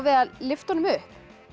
að lyfta honum upp